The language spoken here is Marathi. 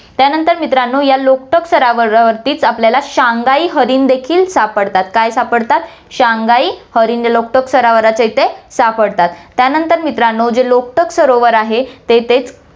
त्यानंतर मित्रांनो, या लोकटाक सरोवरावरतीच आपल्याला शांघाई हरिण देखील सापडतात, काय सापडतात शांघाई हरिण, लोकटाक सरोवराच्या इथे सापडतात. त्यानंतर मित्रांनो, जे लोकटाक सरोवर आहे, ते इथे